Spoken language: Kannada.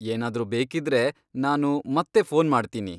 ಏನಾದ್ರೂ ಬೇಕಿದ್ರೆ ನಾನು ಮತ್ತೆ ಫೋನ್ ಮಾಡ್ತೀನಿ.